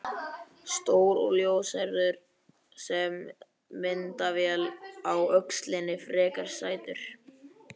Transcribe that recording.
Stór og ljóshærður með myndavél á öxlinni, frekar sætur.